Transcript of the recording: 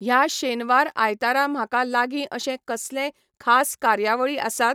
ह्या शेनवार आयतारा म्हाका लागीं अशे कसलेय खास कार्यावळी आसात?